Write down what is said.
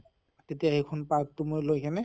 তেতিয়া সেইখিনি part টো মই লৈ কিনে